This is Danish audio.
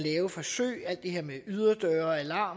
er forsøg